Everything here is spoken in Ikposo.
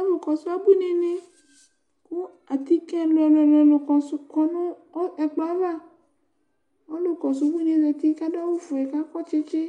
Alʋkɔsʋ abuinini, kʋ atike ɛlʋɛlʋɛlʋ kɔ nʋ ɛkplɔ yɛ ava Ɔlʋ kɔsʋ ubuini e zati kʋ adʋ awʋ fue kʋ akɔ tsitsi